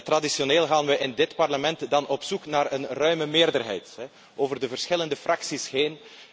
Traditioneel gaan we in dit Parlement dan op zoek naar een ruime meerderheid over de verschillende fracties heen.